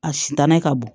A sitanɛ ka bon